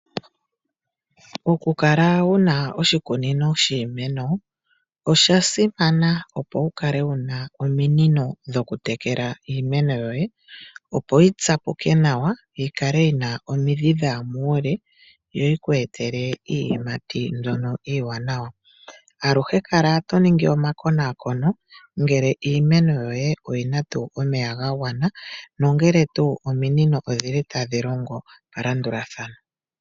Oku kala wuna oshikunino shiimeno osha simana, opo wukale wuna ominino dhokutekela iimeno yoye, opo yitsapuke nawa yikale yina omidhi dhaya muule yo yikweetele iiyimati yili iiwanawa. Aluhe kala to ningi omakonakono ngele iimeno ominino odhili tadhi longo melandulathano.